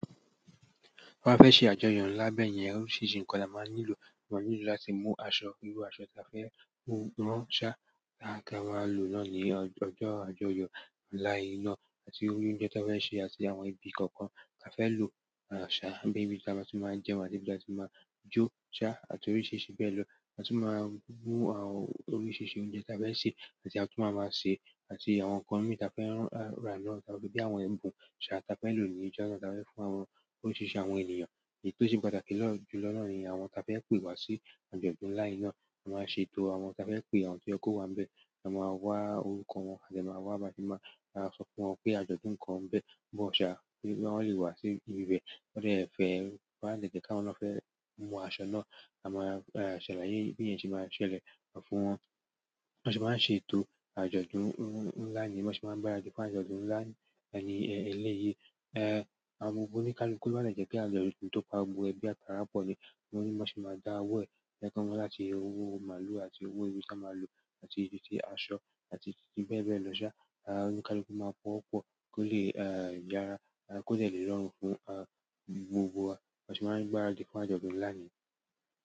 Tí a bá fẹ́ ṣe àjọyọ̀ ńlá bẹ́ẹ̀ yẹn, oríṣìíríṣìí ǹkan ni a máa nílò. A máa nílò láti mú aṣọ, irú aṣọ tí a fẹ́ mú rán ṣá, tí a máa lò lọ́ ni ọjọjọ́ àjọyọ̀ ńlá yìí náà, àti oúnjẹ tí a fẹ́ sè, àti àwọn ibi kọ̀ọ̀kan tí a fẹ́ lò ṣá, bí i ibi tí a bá ti máa jẹun, àti ibi tí a ti máa jó ṣá, àti oríṣìíríṣìí bẹ́ẹ̀ lọ. A tún máa mu àwọn oríṣìíríṣìí oúnjẹ tí a fẹ́ sè, àti àwọn tí a tún máa máa ṣe, àti àwọn kànmí tí a fẹ́ rá lọ, bí i àwọn ẹbùn ṣá tí a fẹ́ lò ní ìjọna tí a fẹ́ fún àwọn oríṣìíríṣìí àwọn ènìyàn. Èyí tó ṣe pàtàkì jù lọ náà ni àwọn tí a fẹ́ pe wá sí àjọ̀dún ńlá yìí náà, a máa ṣè tó. Àwọn tá fẹ pe àwọn to yé ko wa ni bẹ a máa wa orúkọ wọn a de ma wà ba aṣẹ má so fún wọn pé àjọ̀dún kan bẹ bo ya wọn le wá si ibibẹ lọ́jọ́ ìfẹ́, wọ́n á lè jẹ́ kí wọn lọ fẹ́ mu aṣọ náà, a máa ṣèlaye bí iyẹ́n ṣe máa ṣẹlẹ̀ fún wọn. Wọn se máa ń ṣe ètò àjọ̀dún ńlá nìí, wọ́n sì máa ń gbàràdi fún àjọ̀dún ńlá yìí eléyìí. Agbogbọ́ oníkálukú máa ń jẹ́ pé àjọ̀dún tó pagbo ẹgbẹ́ àtàrà pọ̀ jẹ́, níwọ́n sì máa dá owó ẹ, ẹ ká wọn láti owó màlúù àti owó ìrẹsì màlúù, àti èsì tí aṣọ, àti èsì bẹ́ẹ̀ bẹ́ẹ̀ lọ ṣá. Oníkálukú máa pọ̀wo pọ̀ kó lè yára, kó tó lè lọ́rùn fún gbogbo wa. Bo se máa n gbaradi fún ajọdun ńlá niyen.